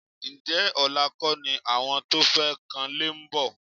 Ǹjẹ́ ọ̀la kọ́ ni àwọn tó fẹ́ kanlé ń bọ̀?